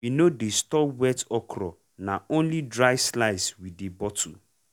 we no dey store wet okra na only dry slice we dey bottle.